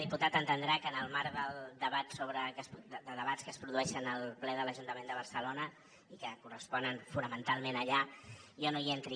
diputat entendrà que en el marc de debats que es produeixen al ple de l’ajuntament de barcelona i que corresponen fonamentalment allà jo no hi entri